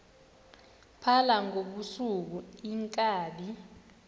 phala ngobusuku iinkabi